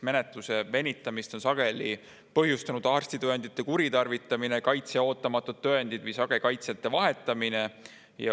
Menetluse venimist on sageli põhjustanud arstitõendite kuritarvitamine, kaitsja ootamatud tõendid või sage kaitsjate vahetamine.